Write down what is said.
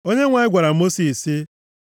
Onyenwe anyị gwara Mosis sị,